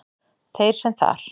Þeir sem þar